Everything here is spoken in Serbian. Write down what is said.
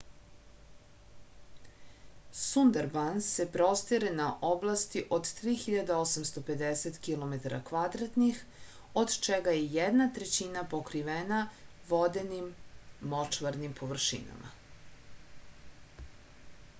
сундарбанс се простире на области од 3850 km² од чега је једна трећина покривена воденим/мочварним површинама